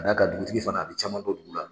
A na ka dugutigi fana a bɛ caman don olu la.